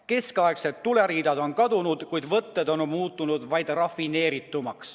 Keskaegsed tuleriidad on kadunud, kuid võtted on muutunud rafineeritumaks.